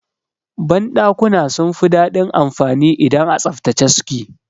Ban dakuna sun fi dadin anfani idan a tsaftace suke.